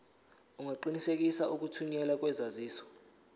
ungaqinisekisa ukuthunyelwa kwesaziso